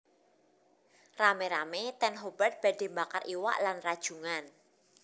Rame rame ten Hobart badhe mbakar iwak lan rajungan